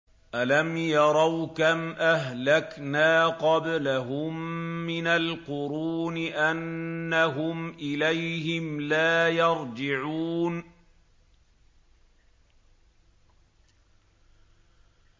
أَلَمْ يَرَوْا كَمْ أَهْلَكْنَا قَبْلَهُم مِّنَ الْقُرُونِ أَنَّهُمْ إِلَيْهِمْ لَا يَرْجِعُونَ